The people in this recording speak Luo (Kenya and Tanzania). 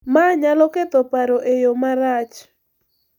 Ma nyalo ketho paro e yo marach .